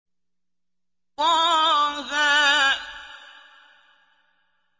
طه